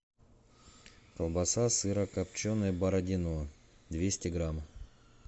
колбаса сырокопченая бородино двести грамм